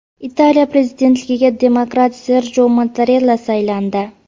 Italiya prezidentligiga demokrat Serjo Mattarella saylandi.